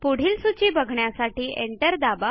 पुढील सूची बघण्यासाठी एंटर दाबा